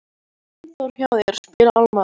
Var Steindór hjá þér, spyr Alma.